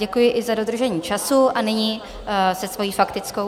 Děkuji i za dodržení času a nyní se svojí faktickou...